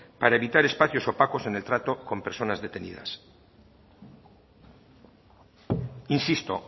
para evitar espacios opacos en el trato con personas detenidas insisto